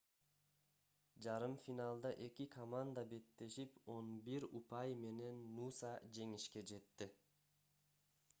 жарым финалда эки команда беттешип 11 упай менен нуса жеңишке жетти